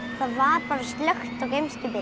það var bara slökkt á geimskipinu